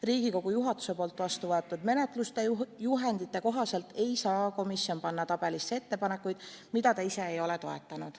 Riigikogu juhatuse vastuvõetud menetlusjuhendite kohaselt ei saa komisjon panna tabelisse ettepanekuid, mida ta ise ei ole toetanud.